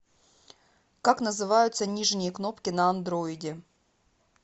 как называются нижние кнопки на андроиде